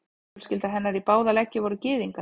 Fjölskylda hennar í báða leggi voru gyðingar.